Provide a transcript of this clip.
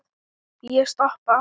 Ég stoppa.